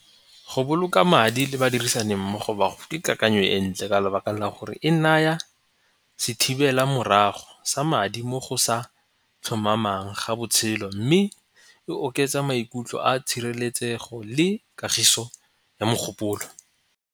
Go boloka madi le ba dirisani mmogo ba go ke kakanyo e ntle ka lebaka la gore e naya sethibela morago sa madi mo go sa tlhomamang ga botshelo mme e oketsa maikutlo a tshireletsego le kagiso ya mogopolo.